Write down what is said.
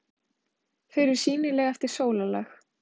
Þau eru sýnileg eftir sólarlag.